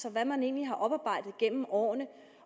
og hvad man egentlig har oparbejdet gennem årene